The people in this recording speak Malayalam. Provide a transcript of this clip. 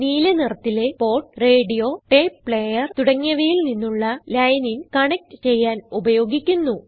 നീല നിറത്തിലെ പോർട്ട് റേഡിയോ ടേപ്പ് പ്ലേയർ തുടങ്ങിയവയിൽ നിന്നുള്ള ലൈൻ ഇൻ കണക്റ്റ് ചെയ്യാൻ ഉപയോഗിക്കുന്നു